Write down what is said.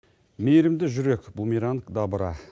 мейірімді жүрек бумеранг добра